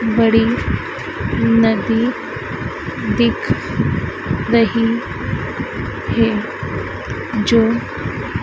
बड़ी नदी दिख रही है जो--